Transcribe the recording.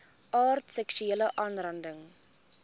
aard seksuele aanranding